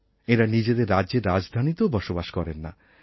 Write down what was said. এঁরা নিজেদের রাজ্যের রাজধানীতেও বসবাস করেন না